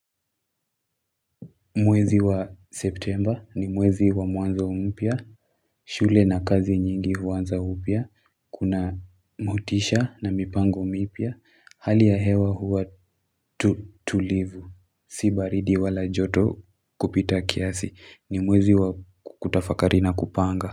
Mwezi wa septemba ni mwezi wa mwanzo mpya shule na kazi nyingi huanza upya Kuna motisha na mipango mpya Hali ya hewa huwa tulivu Si baridi wala joto kupita kiasi ni mwezi wa kutafakari na kupanga.